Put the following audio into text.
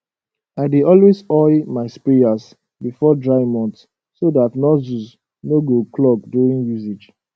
i dey always oil my sprayers before dry months so dat nozzles no go clog during usage